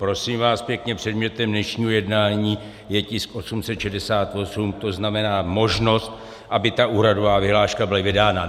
Prosím vás pěkně, předmětem dnešního jednání je tisk 868, to znamená možnost, aby ta úhradová vyhláška byla vydána.